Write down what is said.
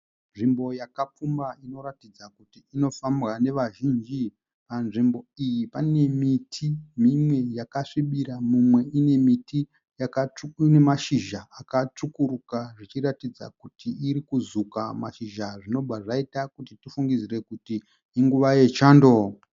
Nzvimbo yakapfumba inoratidza kuti inofambwa nevazhinji. Panzvimbo iyi pane miti mimwe yakasvibira mumwe ine mashizha akatsvukuruka zvichiratidza kuti irikukuzvuka mashizha zvinobva zvaita kuti tifungidzire kuti inguva yechando.